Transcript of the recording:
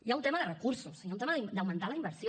hi ha un tema de recursos hi ha un tema d’augmentar la inversió